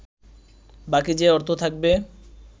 বাকি যে অর্থ থাকবে